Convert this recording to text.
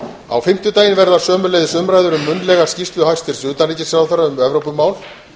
á fimmtudaginn verða sömuleiðis munnlegar umræður um skýrslu hæstvirts utanríkisráðherra um evrópumál